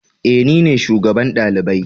Eh, nine shugaban dalibai.